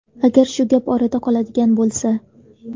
Agar shu gap orada qoladigan bo‘lsa.